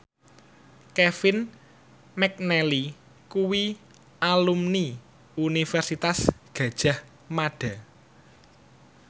Kevin McNally kuwi alumni Universitas Gadjah Mada